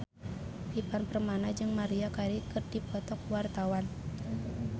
Ivan Permana jeung Maria Carey keur dipoto ku wartawan